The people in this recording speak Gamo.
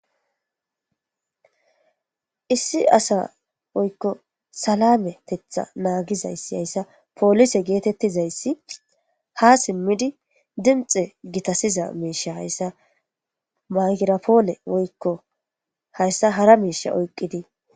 Issi asa woyko salanetetha nagizays haysa polise getetizays ha simid dinixe gitasiza musha haysa maygirapone woyko haysa hara misha oykid..